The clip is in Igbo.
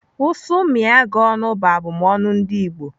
"Ụsụ mịa gị ọnụ," bụ abụmọnu ndị Igbo.